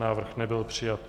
Návrh nebyl přijat.